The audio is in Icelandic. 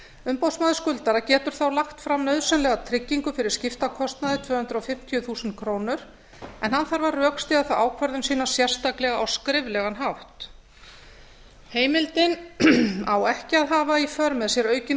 umboðsmaður skuldara getur þá lagt fram nauðsynlega tryggingu fyrir skiptakostnaði tvö hundruð fimmtíu þúsund krónur en hann þarf að rökstyðja þá ákvörðun sína sérstaklega á skriflegan hátt heimildin á ekki að hafa í för með sér aukinn